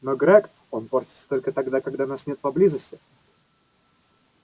но грег он портится только тогда когда нас нет поблизости